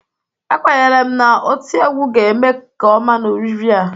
Ekwenyere m na oti egwu ga-eme nke ọma n'oriri a.